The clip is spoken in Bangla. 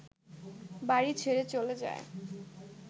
বাড়ি ছেড়ে চলে যায়